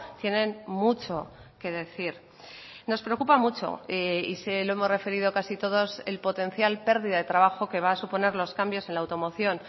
tienen mucho que decir nos preocupa mucho y se lo hemos referido casi todos el potencial pérdida de trabajo que va a suponer los cambios en la automoción